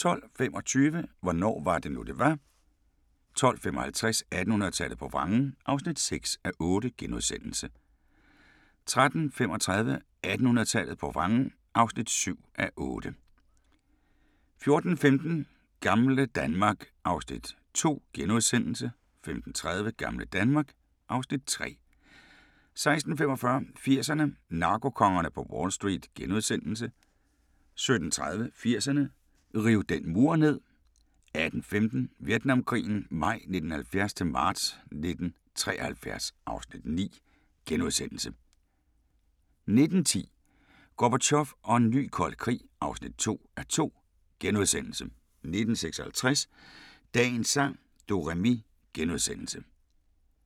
12:25: Hvornår var det nu det var? 12:55: 1800-tallet på vrangen (6:8)* 13:35: 1800-tallet på vrangen (7:8) 14:15: Gamle Danmark (Afs. 2)* 15:30: Gamle Danmark (Afs. 3) 16:45: 80'erne: Narkokongerne på Wall Street * 17:30: 80'erne: Riv den mur ned 18:15: Vietnamkrigen maj 1970-marts 1973 (Afs. 9)* 19:10: Gorbatjov og en ny kold krig (2:2)* 19:56: Dagens sang: Do-re-mi *